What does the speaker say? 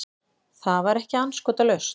Það var ekki andskotalaust.